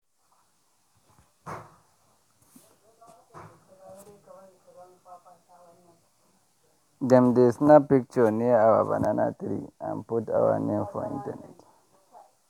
dem dey snap picture near our banana tree and put our name for internet.